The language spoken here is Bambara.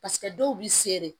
Paseke dɔw bi se dɛ